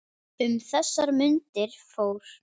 Um þessar mundir fór